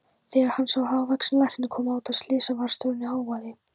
Þegar hann sá hávaxinn lækni koma út af slysavarðstofunni hóaði